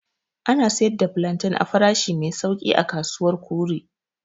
Ana sayar da plantain a farashi mai sauƙi a kasuwar kure.